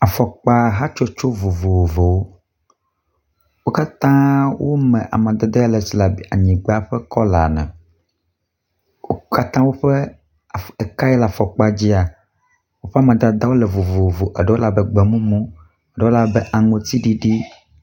Afɔkpa hatsotso vovovowo wo katã wome amadede le si le anyigba ƒe kɔla ne. Wo katã ƒe eka yi le afɔkpa dzia woƒe amadede wo le vovovo eɖewo le abe gbe mumu eɖewo le abe aŋtsiɖiɖi.